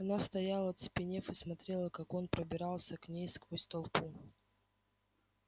она стояла оцепенев и смотрела как он пробирался к ней сквозь толпу